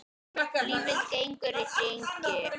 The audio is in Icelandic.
Lífið gengur í hringi.